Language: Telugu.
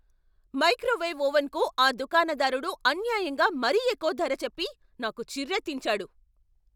మైక్రోవేవ్ ఓవెన్కు ఆ దుకాణదారుడు అన్యాయంగా మరీ ఎక్కువ ధర చెప్పి నాకు చిర్రెత్తించాడు.